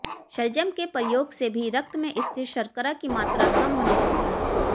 शलजम के प्रयोग से भी रक्त में स्थित शर्करा की मात्रा कम होने लगती है